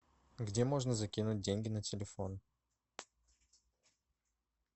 где можно закинуть деньги на телефон